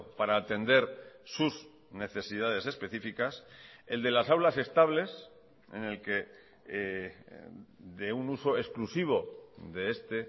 para atender sus necesidades específicas el de las aulas estables en el que de un uso exclusivo de este